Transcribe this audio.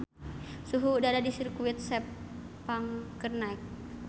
Suhu udara di Sirkuit Sepang keur naek